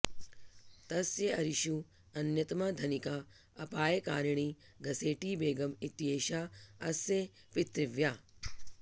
तस्य अरिषु अन्यतमा धनिका अपायकारिणी घसेटि बेगम् इत्येषा अस्य पितृव्या